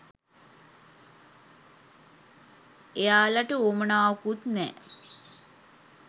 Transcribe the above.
එයාලට උවමනාවකුත් නෑ